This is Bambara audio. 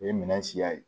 O ye minɛn siya ye